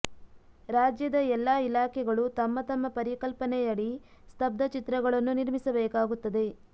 ರಾಜ್ಯದ ಎಲ್ಲಾ ಇಲಾಖೆಗಳು ತಮ್ಮ ತಮ್ಮ ಪರಿಕಲ್ಪನೆಯಡಿ ಸ್ತಬ್ಧ ಚಿತ್ರಗಳನ್ನು ನಿರ್ಮಿಸಬೇಕಾಗುತ್ತದೆ